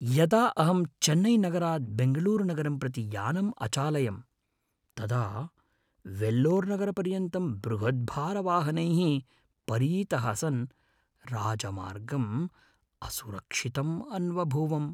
यदा अहं चेन्नैनगरात् बेङ्गलूरुनगरं प्रति यानम् अचालयम्, तदा वेल्लोर्नगरपर्यन्तं बृहत्भारवाहनैः परीतः सन् राजमार्गं असुरक्षितम् अन्वभूवम्।